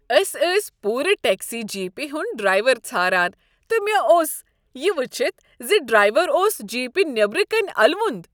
أسۍٲسۍ پورٕ ٹیکسی جیپِہ ہند ڈرایور ژھاران تہٕ مےٚ اوٚس یِہ ؤچھتھ زِ ڈرایور اوس جیپِہ نیبرۍ کِنۍ الوند۔